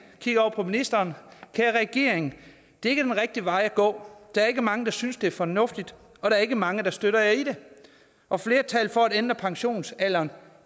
og ministeren kære regering det er ikke den rigtige vej at gå der er ikke mange der synes det er fornuftigt og der er ikke mange der støtter jer i det og flertallet for at ændre pensionsalderen